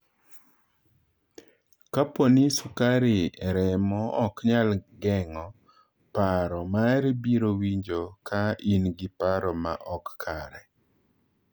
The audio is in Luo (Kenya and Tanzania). Kapo ni sukari e remo ok nyal geng’o, paro mari biro winjo ka in gi paro ma ok kare.